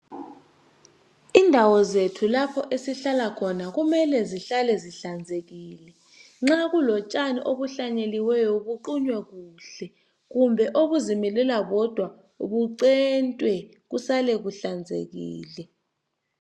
Indawo zethu lapho esihlala khona kumele zihlale zihlanzekile. Nxa kulotshani ohlanyenyeliweyo kuqunywe kuhle, kumbe okuzimilela wodwa bucentwe kusale kuhlanzekile.